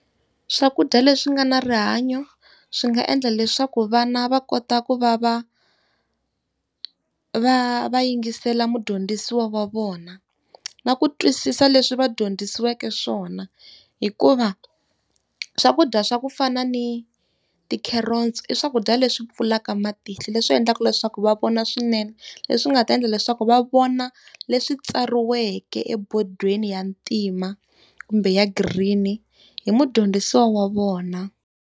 Swakudya leswi nga na rihanyo swi nga endla leswaku vana va kota ku va va va va yingisela mudyondzisiwa wa vona, na ku twisisa leswi va dyondzisiweke swona. Hikuva swakudya swa ku fana ni ti-carrots i swakudya leswi pfulaka matihlo, leswi endlaka leswaku va vona swinene, leswi nga ta endla leswaku va vona leswi tsariweke ebodweni ya ntima kumbe ya green-i, hi mudyondzisi wa vona.